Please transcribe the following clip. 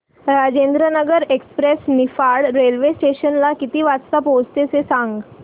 Rajendranagar express Niphad railway station ला किती वाजता पोहचते ते सांग